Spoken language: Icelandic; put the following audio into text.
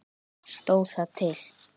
Stóð það til?